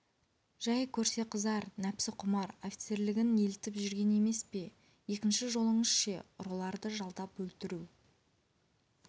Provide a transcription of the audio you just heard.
жәй көрсе қызар нәпсі құмар офицерлігінен елтіп жүргені емес пе екінші жолыңыз ше ұрыларды жалдап өлтірту